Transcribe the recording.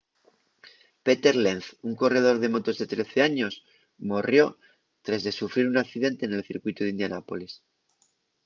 peter lenz un corredor de motos de 13 años morrió tres de sufrir nun accidente nel circuitu d’indianápolis